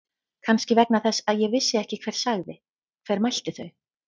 Kannski vegna þess að ég vissi ekki hver sagði. hver mælti þau.